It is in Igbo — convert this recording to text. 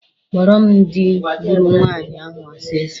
Kpọrọ m dị gburu nwaanyị ahụ ọsịsọ!